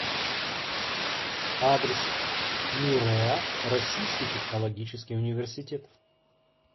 адрес мирэа российский технологический университет